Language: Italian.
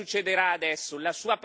Cosa succederà adesso?